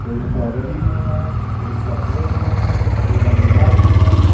कोई स्ट्रॉबेरी में है कोई चॉकलेट में है कोई वैनिला में है।